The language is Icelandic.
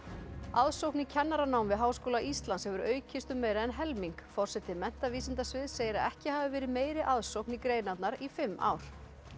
aðsókn í kennaranám við Háskóla Íslands hefur aukist um meira en helming forseti menntavísindasviðs segir að ekki hafi verið meiri aðsókn í greinarnar í fimm ár